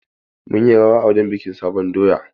Mun yi rawa a wurin bikin sabon doya.